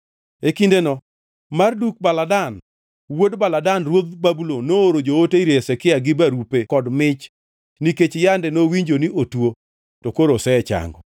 E kindeno Marduk-Baladan wuod Baladan ruodh Babulon nooro joote ir Hezekia gi barupe kod mich nikech yande nowinjo ni otuo to koro osechango.